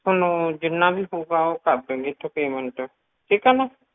ਥੋਨੂੰ ਜਿੰਨਾ ਵੀ ਹੋਊਗਾ ਉਹ ਕਰ ਦਊਂਗੀ ਇਥੋਂ payment ਠੀਕ ਆ ਨਾ